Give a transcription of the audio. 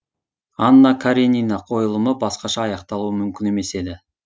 анна каренина қойылымы басқаша аяқталуы мүмкін емес еді